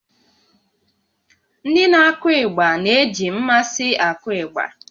Ndị na-akụ ịgba na-eji mmasị akụ ịgbà